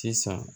Sisan